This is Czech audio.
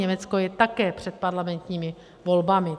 Německo je také před parlamentními volbami.